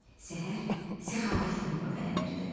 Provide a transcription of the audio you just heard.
Səhər səxavətlə nura bələnirdi.